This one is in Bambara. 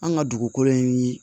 An ka dugukolo in